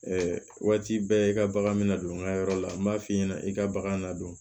waati bɛɛ i ka bagan bɛ na don n ka yɔrɔ la n b'a f'i ɲɛna i ka bagan nadon